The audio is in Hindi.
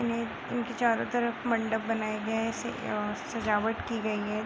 इनके चारो तरफ मंडप बनाये गए हैं और सजावट की गई है।